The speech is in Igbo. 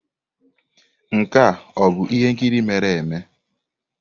Nke a ọ bụ ihe nkiri mere eme?